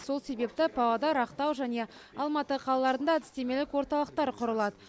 сол себепті павлодар ақтау және алматы қалаларында әдістемелік орталықтар құрылады